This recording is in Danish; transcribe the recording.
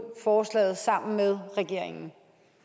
forslaget sammen med regeringen